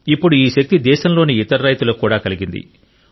ఇప్పుడు ఈ శక్తి దేశంలోని ఇతర రైతులకు కూడా కలిగింది